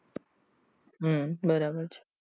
હમ બરાબર છે